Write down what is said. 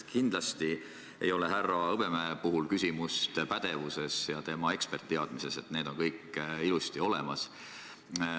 Kindlasti ei ole härra Hõbemäe puhul küsimus pädevuses ja tema eksperditeadmistes, need on kõik ilusti olemas.